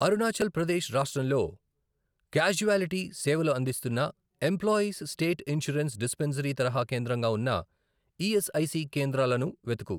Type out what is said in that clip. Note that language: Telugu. అరుణాచల్ ప్రదేశ్ రాష్ట్రంలో క్యాజువాలిటీ సేవలు అందిస్తున్న ఎంప్లాయీస్ స్టేట్ ఇన్షూరెన్స్ డిస్పెన్సరీ తరహా కేంద్రంగా ఉన్న ఈఎస్ఐసి కేంద్రాలను వెతుకు